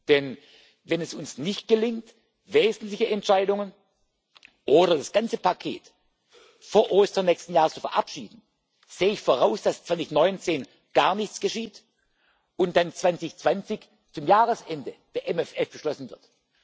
wir dankbar. Denn wenn es uns nicht gelingt, wesentliche Entscheidungen oder das ganze Paket vor Ostern nächsten Jahres zu verabschieden, sehe ich voraus, dass 2019 gar nichts geschieht, und dann 2020 zum Jahresende der MFR beschlossen